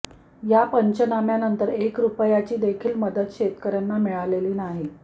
या पंचनाम्यानंतर एक रुपयाची देखील मदत शेतकऱ्यांना मिळालेली नाही